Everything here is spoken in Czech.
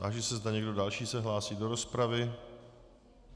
Táži se, zda někdo další se hlásí do rozpravy.